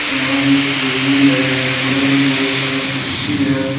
यहां एक टेबुल है बगल में बहुत सारा कुर्सी है।